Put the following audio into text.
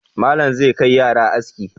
Malam zai kai yara aski.